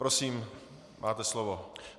Prosím, máte slovo.